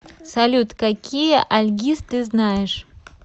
салют какие альгиз ты знаешь